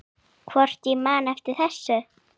Hvort ég man eftir þessu.